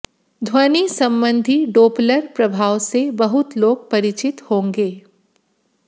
ध्वनि संबंधी डोपलर प्रभाव से बहुत लोग परिचित होंगे